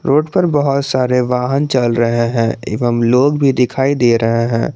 Road पर बहुत सारे वाहन चल रहे हैं एवं लोग भी दिखाई दे रहे हैं।